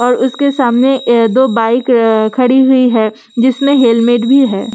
और अ उसके सामने अ दो बाइक अ खड़ी हुई है जिसमें हेलमेट भी है।